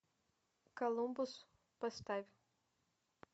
колумбус поставь